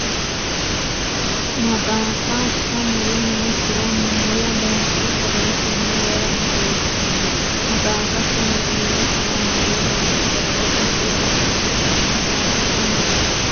Maxaafa shamuri nookkiwa moola bayicho qorowotenni wora hasiis- sanno Maxaafa shamuri nookkiwa moola bayicho qorowotenni wora hasiis- sanno Maxaafa shamuri.